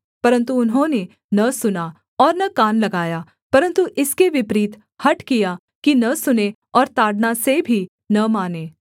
परन्तु उन्होंने न सुना और न कान लगाया परन्तु इसके विपरीत हठ किया कि न सुनें और ताड़ना से भी न मानें